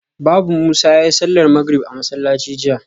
Babu Musa yayi sallar magrib a masallaci jiya